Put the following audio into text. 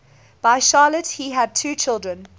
by charlotte he had two children